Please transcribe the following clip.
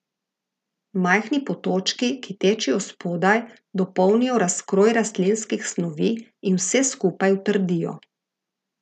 Majhni potočki, ki tečejo spodaj, dopolnijo razkroj rastlinskih snovi in vse skupaj utrdijo.